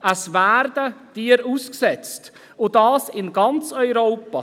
Tiere werden ausgesetzt – und das in ganz Europa.